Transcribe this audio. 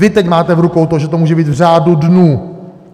Vy teď máte v rukou to, že to může být v řádu dnů.